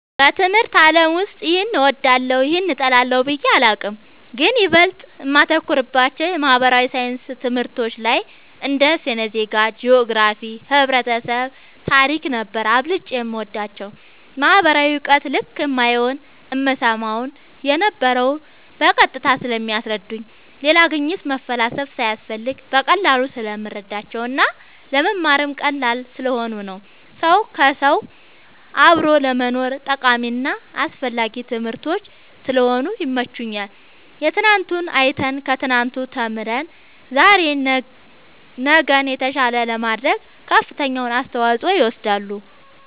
በትምህርት አለም ውስጥ ይሄን እወዳለሁ ይህን እጠላለሁ ብየ አላቅም ግን ይበልጥ እማተኩርባቸው የማህበራዊ ሣይንስ ትምህርቶች ላይ እንደ ስነ ዜጋ ,ጅኦግራፊክስ ,ህብረተሰብ ,ታሪክ ነበር አብልጨም የምወዳቸው ማህበራዊ እውቀት ልክ እማየውን እምሰማውን የነበረው በቀጥታ ስለሚያስረዱኝ ሌላ ግኝት መፈላሰፍ ሳያስፈልግ በቀላሉ ስለምረዳቸው እና ለመማርም ቀላል ስለሆኑ ነው ሰው ከውሰው አብሮ ለመኖርም ጠቃሚና አስፈላጊ ትምህርቶች ስለሆኑ ይመቸኛል የትናንቱን አይተን ከትናንቱ ተምረን ዛሬ ነገን የተሻለ ለማድረግ ከፍተኛውን አስተዋፅኦ ይወስዳሉ